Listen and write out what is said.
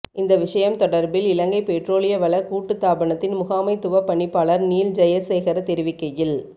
இந்த விடயம் தொடர்பில் இலங்கை பெற்றோலிய வள கூட்டுத்தாபனத்தின் முகாமைத்துவப் பணிப்பாளர் நீல் ஜயசேகர தெரிவிக்கையில்